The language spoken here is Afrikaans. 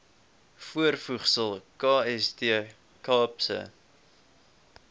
voorvoegsel kst kaapse